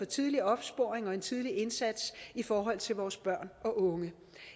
tidlig opsporing og en tidlig indsats i forhold til vores børn og unge